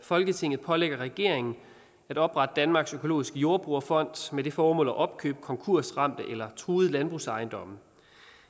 at folketinget pålægger regeringen at oprette danmarks økologiske jordbrugerfond med det formål at opkøbe konkursramte eller truede landbrugsejendomme